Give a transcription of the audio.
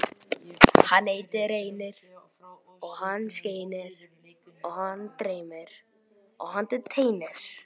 Sylvía, pantaðu tíma í klippingu á miðvikudaginn.